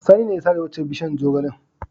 Sani ne ya sare waccan bishiyar zogalen.